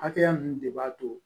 Hakɛya ninnu de b'a to